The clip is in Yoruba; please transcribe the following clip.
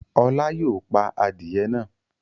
Ọlá yóò pa adìẹ náà!